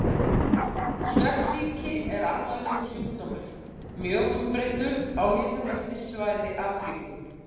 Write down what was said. Svefnsýki er alvarlegur sjúkdómur, mjög útbreiddur á hitabeltissvæði Afríku.